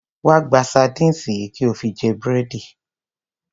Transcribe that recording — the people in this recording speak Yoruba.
Wá gba sardines yìí kí o fi jẹ búrẹ́dì.